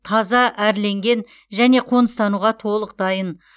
таза әрленген және қоныстануға толық дайын